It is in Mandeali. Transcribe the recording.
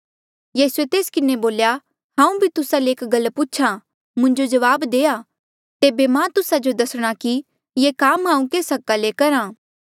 यीसूए तेस किन्हें बोल्या हांऊँ भी तुस्सा ले एक गल पूछ्हा मुंजो जवाब देआ तेबे मां तुस्सा जो दस्णा कि ये काम हांऊँ केस हका ले करहा